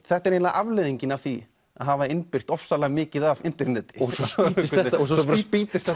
þetta er eiginlega afleiðingin af því að hafa innbyrt ofsalega mikið af interneti svo spýtist